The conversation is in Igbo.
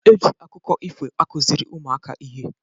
Eji akụkọ ifo akụziri ụmụaka ihe.